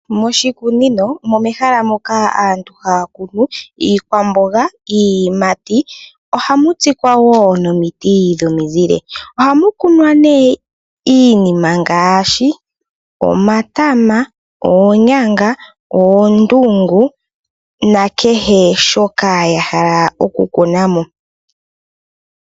Moshikunino omo mehala moka aantu haya kunu iikwamboga, iiyimati. Ohamu tsikwa wo nomiti dhomizile. Ohamu kunwa wo iinima ngaashi: omatama, oonyanga, oondungu nakehe shoka ya hala oku kuna mo.